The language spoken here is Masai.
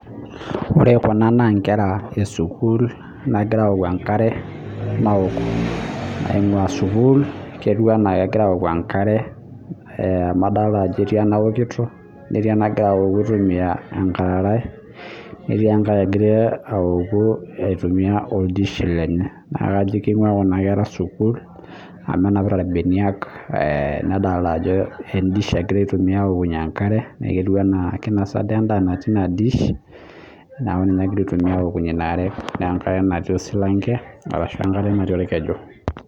Ore Kuna naa enkera ee sukuul nagiraa awoku enkare naok naingua sukuul ketieu ena kegira awoku enkare amu adolita Ajo etii anaokiyo netii enagira awoku aitumia enkararai netii enkae nagiraa awoku aitumia oldish lenye naa kajo kingua kuna kera sukuul amu enapita irbenia nedolita Ajo edish egira aitumia awokunyie enkare neeku ketieu ena kinosa duo endaa natii ena dish neeku ninye egira aitumia awokunyie enkare enatii osilanke ashu enatiiorkeju